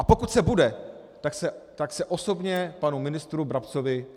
A pokud se bude, tak se osobně panu ministru Brabcovi omluvím.